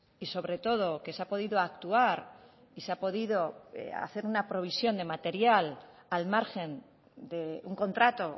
y sobre todo que se ha podido actuar y se ha podido hacer una provisión de material al margen de un contrato